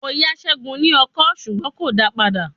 Mo yá Seun ní ọkọ́ ṣùgbọ́n kò dáa padà.